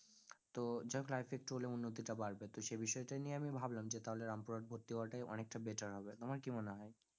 তো যাই হোক life এ একটু হলেও উন্নতি টা বাড়বে, তো সেই বিষয় টা নিয়ে আমি ভাবলাম যে তাহলে রামপুরহাট ভর্তি হওয়াটাই অনেকটা better হবে তোমার কি মনে হয়?